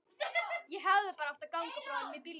Ég hefði bara átt að ganga frá honum í bílnum.